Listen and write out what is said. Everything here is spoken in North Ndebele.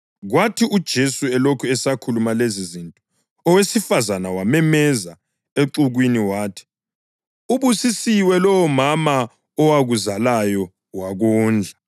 Kwathi uJesu elokhu esakhuluma lezizinto, owesifazane wamemeza exukwini wathi, “Ubusisiwe lowomama owakuzalayo wakondla.”